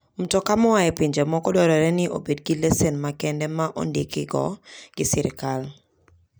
Mtoka moa e pinje moko dwarore ni obed gi lesen makende ma ondikgi go gi sirkal.